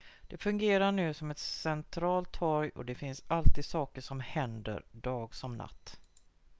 det fungerar nu som ett centralt torg och det finns alltid saker som händer dag som natt